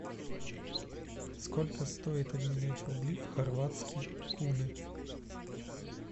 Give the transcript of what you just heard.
сколько стоит обменять рубли в хорватские куны